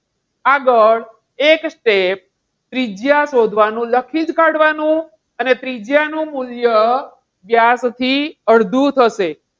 આગળ એક step ત્રિજયા શોધવાનું લખી જ કાઢવાનું અને ત્રિજ્યાનું મૂલ્ય વ્યાસથી અડધું થશે.